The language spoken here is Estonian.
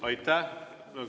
Aitäh!